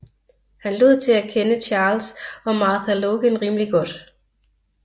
Han lod til at kende Charles og Martha Logan rimelig godt